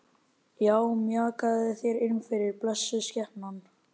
Já, mjakaðu þér innfyrir, blessuð skepnan.